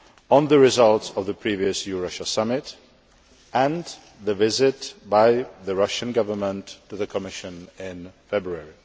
on the results of the previous EU Russia Summit, and the visit by the Russian Government to the Commission in February.